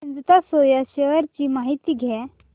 Ajanta soya shares ची माहिती द्या